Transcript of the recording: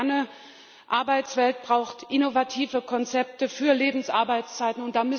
Eine moderne Arbeitswelt braucht innovative Konzepte für Lebensarbeitszeiten.